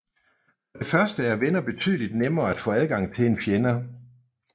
For det første er venner betydeligt nemmere at få adgang til end fjender